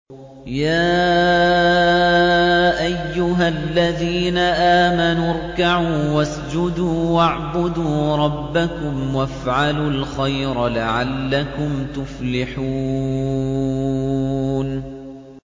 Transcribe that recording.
يَا أَيُّهَا الَّذِينَ آمَنُوا ارْكَعُوا وَاسْجُدُوا وَاعْبُدُوا رَبَّكُمْ وَافْعَلُوا الْخَيْرَ لَعَلَّكُمْ تُفْلِحُونَ ۩